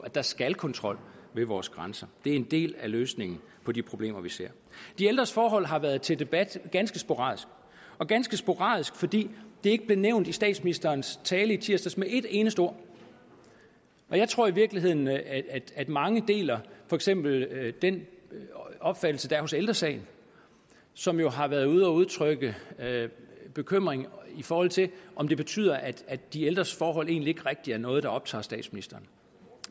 at der skal kontrol ved vores grænser det er en del af løsningen på de problemer vi ser de ældres forhold har været til debat ganske sporadisk og ganske sporadisk fordi det ikke blev nævnt i statsministerens tale i tirsdags med et eneste ord jeg tror i virkeligheden at mange deler for eksempel den opfattelse der er hos ældre sagen som jo har været ude og udtrykke bekymring i forhold til om det betyder at at de ældres forhold egentlig ikke rigtig er noget der optager statsministeren